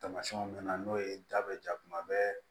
Tamasiyɛnw mɛn na n'o ye da bɛ ja kuma bɛɛ